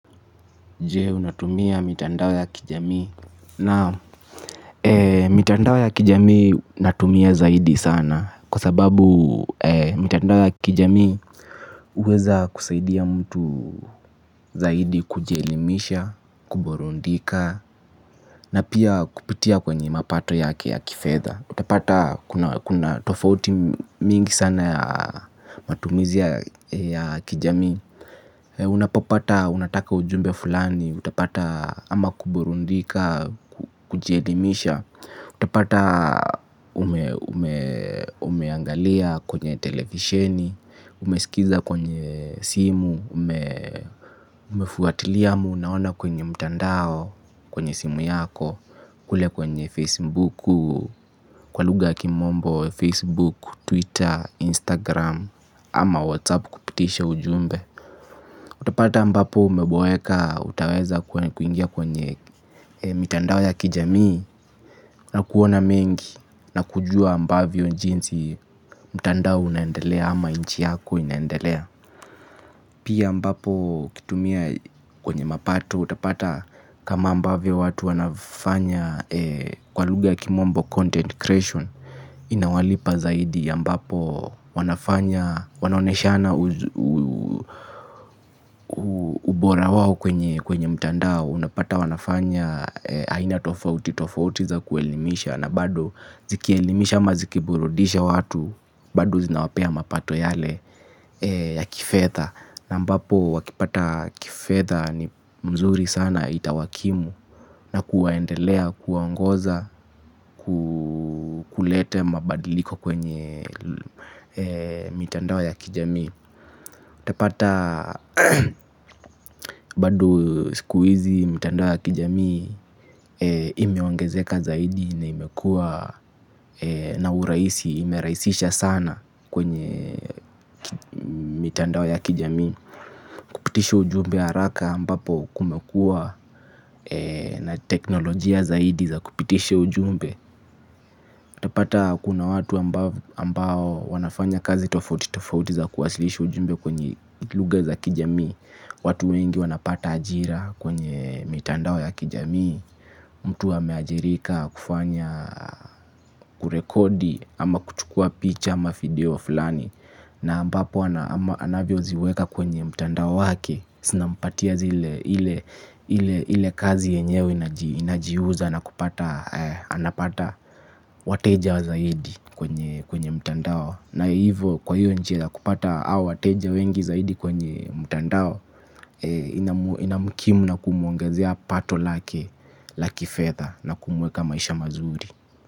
Je, unatumia mitandao ya kijamii naam. Mitandao ya kijamii natumia zaidi sana kwa sababu mitandao ya kijamii uweza kusaidia mtu zaidi kujielimisha, kuburundika. Na pia kupitia kwenye mapato yake ya kifedha. Utapata kuna tofauti mingi sana ya matumizi ya kijamii. Unapopata, unataka ujumbe fulani. Utapata ama kuburundika, kujielimisha. Utapata umeangalia kwenye televisheni. Umesikiza kwenye simu. Umefuatilia ama, unaona kwenye mtandao. Kwenye simu yako kule kwenye facebook, kwa lugha kimombo Facebook, Twitter, Instagram Ama Whatsapp kupitisha ujumbe. Utapata ambapo umeboweka utaweza kuingia kwenye mitandao ya kijamii na kuona mengi na kujua ambavyo jinsi mitandao unaendelea ama inchi yako inaendelea. Pia ambapo ukitumia kwenye mapato utapata kama ambavyo watu wanafanya kwa lugha ya kimombo content creation inawalipa zaidi ambapo wanafanya wanaoneshana ubora wao kwenye mtandao unapata wanafanya aina tofauti tofauti za kuelimisha na bado zikielimisha ama zikiburudisha watu bado zinawapea mapato yale ya kifedha. Na ambapo wakipata kifedha ni mzuri sana itawakimu na kuwaendelea kuwaongoza kukulete mabadiliko kwenye mitandao ya kijamii. Tapata bado sikuhizi mitandao ya kijamii imeongezeka zaidi na imekua na urahisi imeraisisha sana kwenye mitandao ya kijamii. Kupitisha ujumbe haraka ambapo kumekua na teknolojia zaidi za kupitisha ujumbe. Tapata kuna watu ambao wanafanya kazi tofauti tofauti za kuwasilishi ujumbe kwenye lugha za kijamii. Watu wengi wanapata ajira kwenye mitandao ya kijamii. Mtu ameajirika kufanya kurekodi ama kuchukua picha ama video fulani. Na ambapo anavyoziweka kwenye mtandao wake. Sinampatia ile kazi yenyewe inajiuza na kupata wateja zaidi kwenye mtandao. Na hivo kwa hiyo njia ya kupata wateja wengi zaidi kwenye mtandao. Inamukimu na kumuongezea pato lake laki fedha na kumweka maisha mazuri.